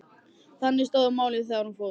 Þannig stóðu málin þegar hún fór.